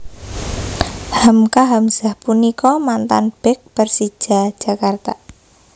Hamka Hamzah punika mantan bek Persija Jakarta